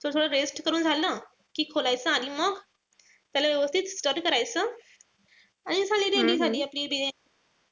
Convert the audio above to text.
तो थोड rest करून झालं कि खोलायचं आणि मग त्याला व्यवस्थित stir करायचं. आणि झाली ready झाली आपली बिर्याणी.